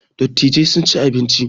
Dattijai sun ci abinci